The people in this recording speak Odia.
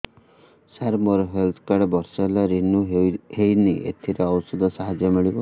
ସାର ମୋର ହେଲ୍ଥ କାର୍ଡ ବର୍ଷେ ହେଲା ରିନିଓ ହେଇନି ଏଥିରେ ଔଷଧ ସାହାଯ୍ୟ ମିଳିବ